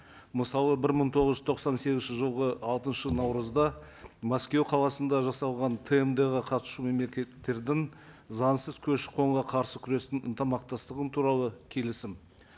мысалы бір мың тоғыз жүз тоқсан сегізінші жылғы алтыншы наурызда мәскеу қаласында жасалған тмд ға қатысушы мемлекеттердің заңсыз көші қонға қарсы күрестің ынтымақтастығы туралы келісім